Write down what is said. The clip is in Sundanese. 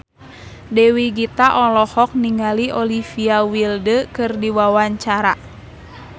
Dewi Gita olohok ningali Olivia Wilde keur diwawancara